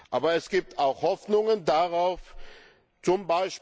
Aber es gibt auch Hoffnungen,